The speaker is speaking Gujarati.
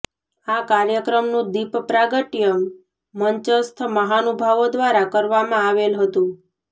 આ કાર્યક્રમનું દીપ પ્રાગટ્ય મંચસ્થ મહાનુભાવો દ્વારા કરવામાં આવેલ હતું